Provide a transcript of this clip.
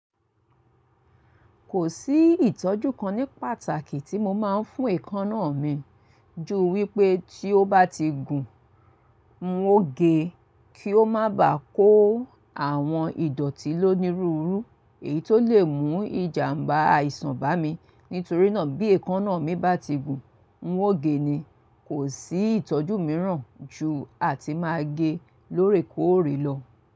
Kò sí ìtọ́jú kan ní pàtàkì tí mo máa ń fún èékánná mi ju wípé tí ó bá ti gùn, mo gé e kí ó má bàá kó àwọn ìdọ̀ọ̀tí lọ ní rúru. Èyí tó lè mú ìjàmbá àìsàn bá mi. Nítorí náà bí èékánná mi bá ti gùn, n wó gé e ni. Kò sí ìtọ́jú mìíràn ju àti máa gé e lórí kóòrí lọ.